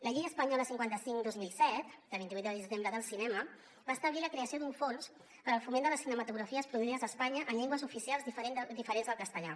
la llei espanyola cinquanta cinc dos mil set de vint vuit de desembre del cinema va establir la creació d’un fons per al foment de les cinematografies produïdes a espanya en llengües oficials diferents del castellà